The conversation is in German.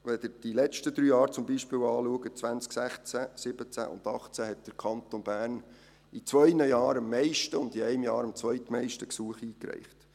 Wenn Sie die letzten drei Jahre anschauen, zum Beispiel 2016, 2017 und 2018, hat der Kanton Bern in zwei Jahren am meisten und in einem Jahr am zweitmeisten Gesuche eingereicht.